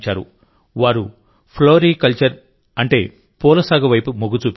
వారు floriculture అంటే పూల సాగు వైపు మొగ్గు చూపారు